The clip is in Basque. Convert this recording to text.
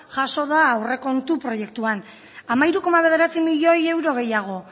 jaso da aurrekontu proiektuan hamairu koma bederatzi milioi euro gehiago